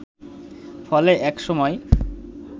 ফলে এক সময়